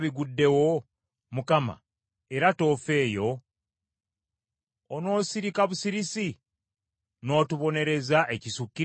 Nga bino byonna biguddewo, Mukama , era toofeeyo? Onoosirika busirisi n’otubonereza ekisukiridde?